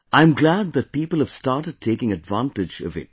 I am glad that people have started taking advantage of it